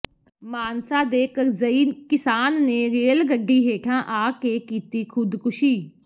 ਮਾਨਸਾ ਦੇ ਕਰਜ਼ਈ ਕਿਸਾਨ ਨੇ ਰੇਲ ਗੱਡੀ ਹੇਠਾਂ ਆ ਕੇ ਕੀਤੀ ਖੁਦਕੁਸ਼ੀ